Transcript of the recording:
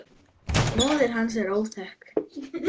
Móðir hans er óþekkt.